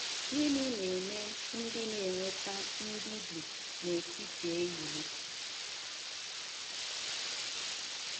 Gịnị na - eme ndị na - enweta ‘ mbibi n’etiti ehihie ’?